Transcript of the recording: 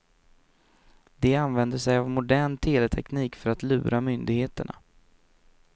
De använder sig av modern teleteknik för att lura myndigheterna.